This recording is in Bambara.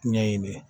Ɲɛɲini